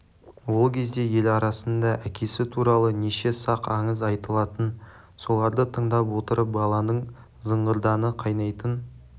ол кезде ел арасында әкесі туралы неше сақ аңыз айтылатын соларды тыңдап отырып баланың зығырданы қайнайтын